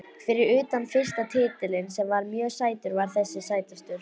Fyrir utan fyrsta titilinn sem var mjög sætur var þessi sætastur.